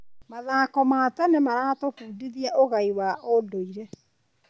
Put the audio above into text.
Mathako ma tene maratũbundithia ũgai wa ũndũire.